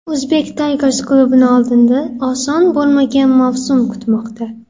Uzbek Tigers klubini oldinda oson bo‘lmagan mavsum kutmoqda.